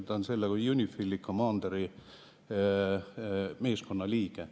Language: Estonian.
Ta on selle UNIFIL-i commander'i meeskonna liige.